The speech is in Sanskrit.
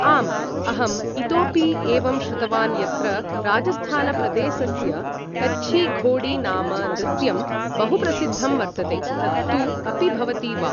आम् अहम् इतोपि एवं श्रुतवान् यत्र राजस्थानप्रदेसस्य कच्छीघोड़ीनाम नृत्यं बहुप्रसिद्धं वर्तते तत् तु अपि भवति वा